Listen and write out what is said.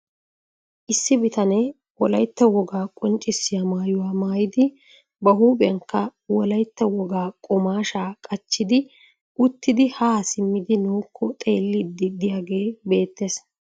Issi bitanee wolaytta wogaa qonccissiya mayuwa maayidi ba huuphiyanikka wolaytta wogaa qumaashshaa qachchidi uttidi haa simmidi nuukko xelliiddi diyagee beettes.